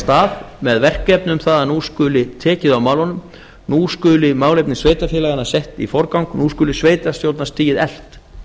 stað með verkefni um það að nú skuli tekið á málunum nú skuli málefni sveitarfélaganna sett í forgang nú skuli sveitarstjórnarstigið eflt